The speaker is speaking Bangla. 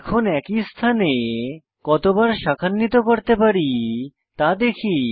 এখন একই স্থানে কতবার শাখান্বিত করতে পারি তা দেখি